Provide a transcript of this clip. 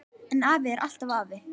En afi er alltaf afi.